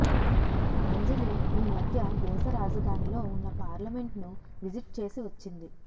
అంజలి ఈ మధ్య దేశ రాజధానిలో ఉన్న పార్లమెంట్ను విజిట్ చేసి వచ్చింది